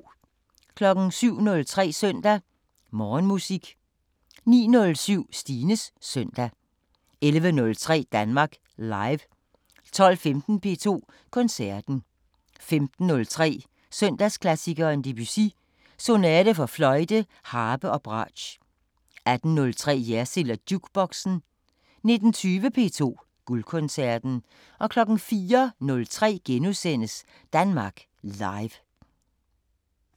07:03: Søndag Morgenmusik 09:07: Stines Søndag 11:03: Danmark Live 12:15: P2 Koncerten 15:03: Søndagsklassikeren – Debussy: Sonate for fløjte, harpe og bratsch 18:03: Jersild & Jukeboxen 19:20: P2 Guldkoncerten 04:03: Danmark Live *